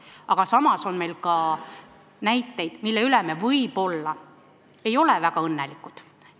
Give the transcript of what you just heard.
Aga samas on ka näiteid, mille üle me võib-olla väga õnnelikud ei ole.